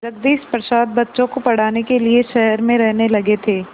जगदीश प्रसाद बच्चों को पढ़ाने के लिए शहर में रहने लगे थे